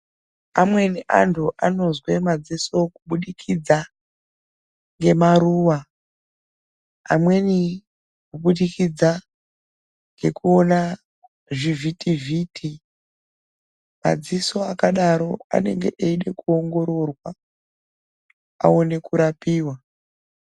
Amweni antu anozwe maziso kubudikidza ngemaruwa. Amweni kubudikidza ngekuwona zvivitiviti. Madziso akadaro anenge eyide kuwongororwa awone kurapiwa.